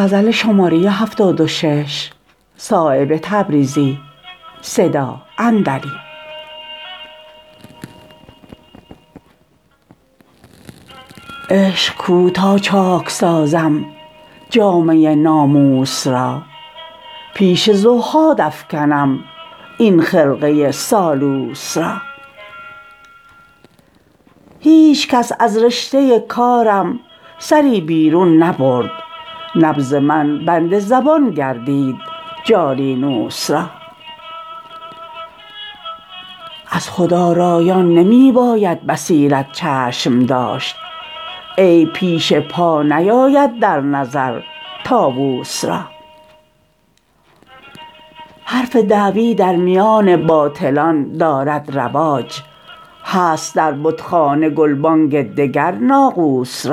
عشق کو تا چاک سازم جامه ناموس را پیش زهاد افکنم این خرقه سالوس را هیچ کس از رشته کارم سری بیرون نبرد نبض من بند زبان گردید جالینوس را از خودآرایان نمی باید بصیرت چشم داشت عیب پیش پا نیاید در نظر طاوس را حرف دعوی در میان باطلان دارد رواج هست در بتخانه گلبانگ دگر ناقوس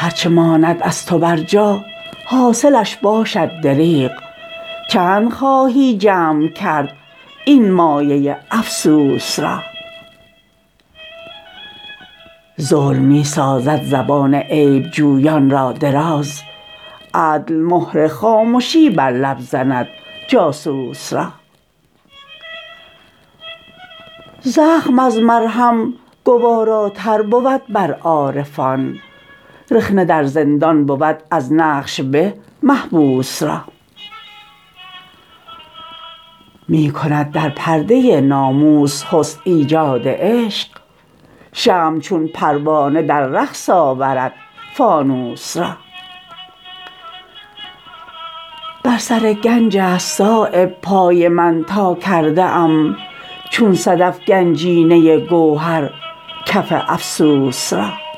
را هر چه ماند از تو بر جا حاصلش باشد دریغ چند خواهی جمع کرد این مایه افسوس را ظلم می سازد زبان عیب جویان را دراز عدل مهر خامشی بر لب زند جاسوس را زخم از مرهم گواراتر بود بر عارفان رخنه در زندان بود از نقش به محبوس را می کند در پرده ناموس حسن ایجاد عشق شمع چون پروانه در رقص آورد فانوس را بر سر گنج است صایب پای من تا کرده ام چون صدف گنجینه گوهر کف افسوس را